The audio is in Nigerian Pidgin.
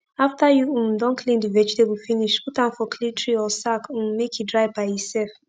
after u um don clean d vegetable finish put am for clean tray or sack um make e dry by e sef